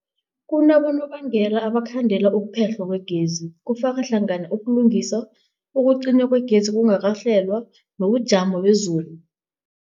Kunabonobangela abangakhandela ukuphehlwa kwegezi, kufaka hlangana ukulungisa, ukucinywa kwegezi okungakahlelwa, nobujamo bezulu.